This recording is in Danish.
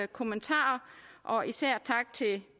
kommentarer og især tak til